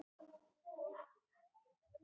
Best að hraða sér niður eftir og róa mannskapinn.